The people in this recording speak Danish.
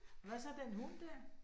Hvad så den hund der?